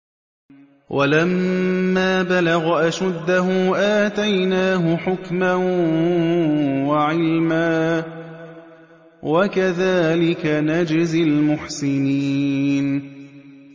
وَلَمَّا بَلَغَ أَشُدَّهُ آتَيْنَاهُ حُكْمًا وَعِلْمًا ۚ وَكَذَٰلِكَ نَجْزِي الْمُحْسِنِينَ